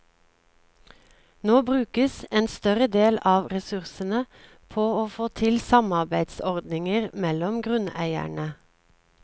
Nå brukes en større del av ressursene på å få til samarbeidsordninger mellom grunneiere.